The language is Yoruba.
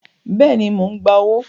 Bẹ́ẹ̀ni, mò ń gba owó